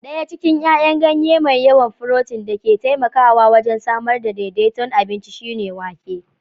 Ɗaya cikin 'yayan ganye mai yawan furotin da ke taimakawa wajen samar da daidaiton abinci shine wake